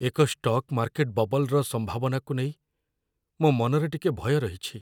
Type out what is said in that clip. ଏକ stock market ବବଲ୍‌ର ସମ୍ଭାବନାକୁ ନେଇ ମୋ ମନରେ ଟିକେ ଭୟ ରହିଛି।